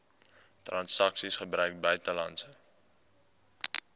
transaksies gebruik buitelandse